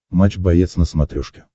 матч боец на смотрешке